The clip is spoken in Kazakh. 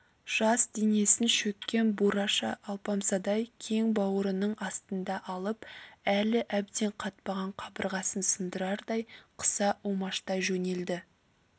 жас денесін шөккен бураша алпамсадай кең бауырының астына алып әлі әбден қатпаған қабырғасын сындырардай қыса умаштай жөнелді